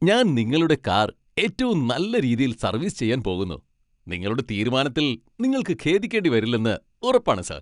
ഞാൻ നിങ്ങളുടെ കാർ ഏറ്റവും നല്ല രീതിയിൽ സർവീസ് ചെയ്യാൻ പോകുന്നു. നിങ്ങളുടെ തീരുമാനത്തിൽ നിങ്ങൾക്ക് ഖേദിക്കേണ്ടി വരില്ലെന്ന് ഉറപ്പാണ് , സാർ!